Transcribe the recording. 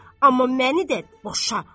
Amma məni də boşa.